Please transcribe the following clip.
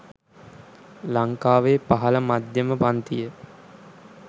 ලංකාවේ පහළ මධ්‍යම පංතිය